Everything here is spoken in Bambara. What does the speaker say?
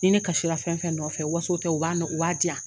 Ni ne kasira fɛn fɛn nɔfɛ waso tɛ u b'a u b'a diyan.